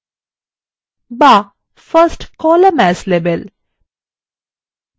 বা first column as label